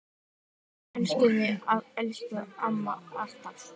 Elskum þig, elsku amma, alltaf.